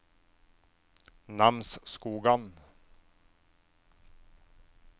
Namsskogan